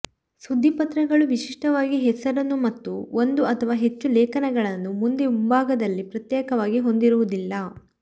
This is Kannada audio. ಸುದ್ದಿಪತ್ರಗಳು ವಿಶಿಷ್ಟವಾಗಿ ಹೆಸರನ್ನು ಮತ್ತು ಒಂದು ಅಥವಾ ಹೆಚ್ಚು ಲೇಖನಗಳನ್ನು ಮುಂದೆ ಮುಂಭಾಗದಲ್ಲಿ ಪ್ರತ್ಯೇಕವಾಗಿ ಹೊಂದಿರುವುದಿಲ್ಲ